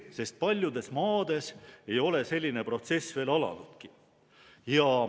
sest paljudes maades ei ole selline protsess veel alanudki.